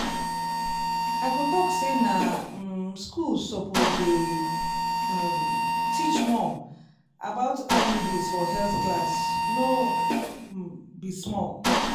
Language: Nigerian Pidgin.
i go talk say na um schools suppose dey um teach more about iuds for health class no um be small